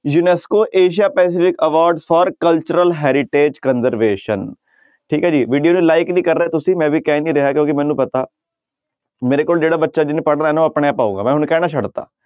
UNESCO Asia Pacific award for cultural heritage conservation ਠੀਕ ਹੈ ਜੀ video ਨੂੰ like ਨੀ ਕਰ ਰਹੇ ਤੁਸੀਂ ਮੈਂ ਵੀ ਕਹਿ ਨੀ ਰਿਹਾ ਕਿਉਂਕਿ ਮੈਨੂੰ ਪਤਾ ਮੇਰੇ ਕੋਲ ਜਿਹੜਾ ਬੱਚਾ ਜਿਹਨੇ ਪੜ੍ਹਨਾ ਨਾ ਉਹ ਆਪਣੇ ਆਪ ਆਊਗਾ ਮੈਂ ਹੁਣ ਕਹਿਣਾ ਛੱਡ ਦਿੱਤਾ।